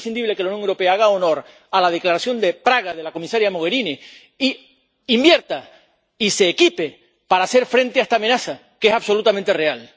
Es imprescindible que la Unión Europea haga honor a la declaración de Praga de la comisaría Mogherini e invierta y se equipe para hacer frente a esta amenaza, que es absolutamente real.